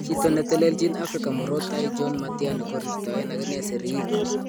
Chito netelelchin Afrika Murot Tai John Matiani kokorirtaen akine siriik.